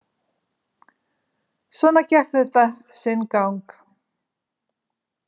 Svona gekk þetta sinn gang.